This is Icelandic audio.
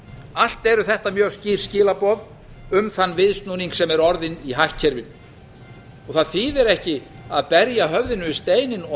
allt eru þetta mjög skýr skilaboð um þann viðsnúning sem er orðinn í hagkerfinu það þýðir ekki að berja höfðinu við steininn og